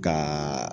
Ka